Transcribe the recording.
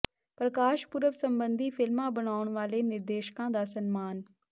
ਪ੍ਰਕਾਸ ਪੁਰਬ ਸਬੰਧੀ ਫ਼ਿਲਮਾਂ ਬਨਾਉਣ ਵਾਲੇ ਨਿਰਦੇਸ਼ਕਾਂ ਦਾ ਸਨਮਾਨ